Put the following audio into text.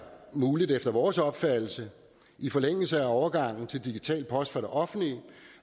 muligt efter vores opfattelse i forlængelse af overgangen til digital post fra det offentlige